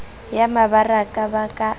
ya mebaraka ba ka a